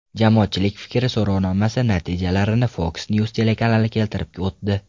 Jamoatchilik fikri so‘rovnomasi natijalarini Fox News telekanali keltirib o‘tdi .